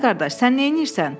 Ay qardaş, sən neyləyirsən?